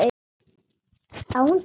Á hún tölvu?